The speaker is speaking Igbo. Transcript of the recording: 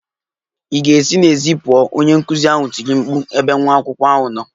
Ị ga-esi n'èzí pụọ! Onye nkuzi ahụ tiri mkpu n'ebe nwa akwụkwọ ahụ nọ.